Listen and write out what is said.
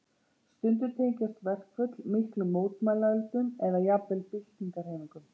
Stundum tengjast verkföll miklum mótmælaöldum eða jafnvel byltingarhreyfingum.